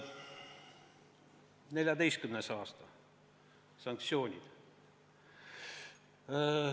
2014. aasta ja sanktsioonid.